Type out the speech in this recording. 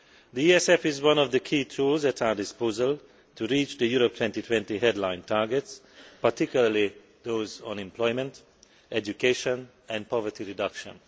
The ESF is one of the key tools at our disposal in reaching the Europe 2020 headline targets, particularly those on employment, education and poverty reduction.